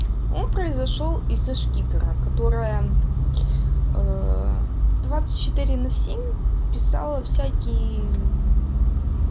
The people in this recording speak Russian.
он произошёл из за шкипера которая двадцать четыре семь писала всякие